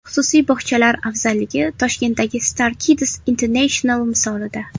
Xususiy bog‘chalar afzalligi Toshkentdagi Star Kids International misolida.